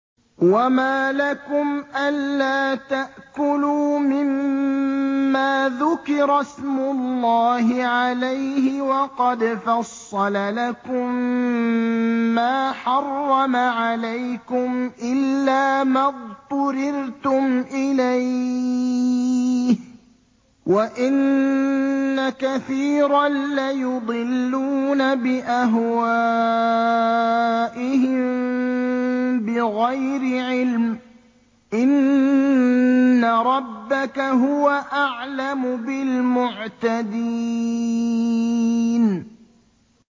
وَمَا لَكُمْ أَلَّا تَأْكُلُوا مِمَّا ذُكِرَ اسْمُ اللَّهِ عَلَيْهِ وَقَدْ فَصَّلَ لَكُم مَّا حَرَّمَ عَلَيْكُمْ إِلَّا مَا اضْطُرِرْتُمْ إِلَيْهِ ۗ وَإِنَّ كَثِيرًا لَّيُضِلُّونَ بِأَهْوَائِهِم بِغَيْرِ عِلْمٍ ۗ إِنَّ رَبَّكَ هُوَ أَعْلَمُ بِالْمُعْتَدِينَ